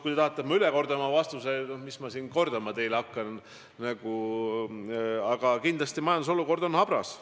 Kui te tahate, et ma kordan oma vastuse üle, siis seda ma teile kordama hakkan: kindlasti majanduse seis on habras.